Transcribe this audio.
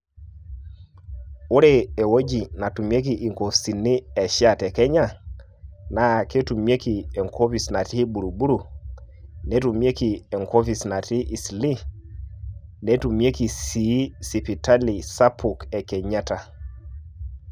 Ore ewueji naatumieki nkopisini e SHA te Kenya, naa ketumieki e nkopis natii Buruburu, netumieki enkopis natii Isilii netumieki sii sipitali sapuk e Kenyatta.